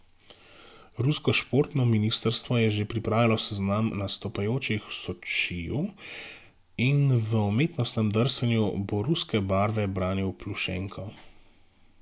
Rusko športno ministrstvo je že pripravilo seznam nastopajočih v Sočiju in v umetnostnem drsanju bo ruske barve branil Plušenko.